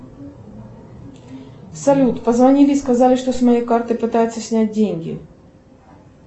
салют позвонили и сказали что с моей карты пытаются снять деньги